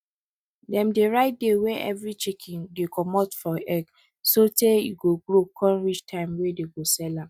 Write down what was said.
dem dey write day wey everi small chicken dey commot for egg so tey e go grow con reach time wey dey go sell am